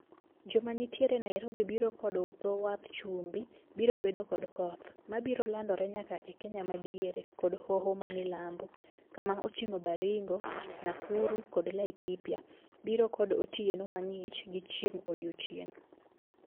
Joma nitiere Nairobi biro kod dho wadh chumbi biro bedo kod koth. Mabiro landore nyaka e Kenya madiere kod hoho mamilambo. Kama oting'o Baringo, Nakuru kod Laikipia biro kod otieno mang'ich gi chieng' odiochieng'.